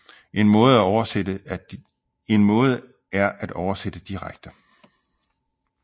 En måde er at oversætte direkte